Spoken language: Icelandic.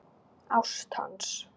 Ást hans.